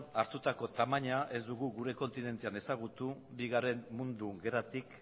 hartutako tamaina ez dugu gure kontinentean ezagutu bigarren mundu gerratik